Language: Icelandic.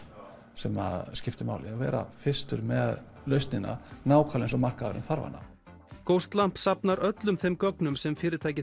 sem skiptir máli vera fyrstur með lausnina nákvæmlega eins og markaðurinn þarf hana safnar öllum þeim gögnum sem fyrirtækið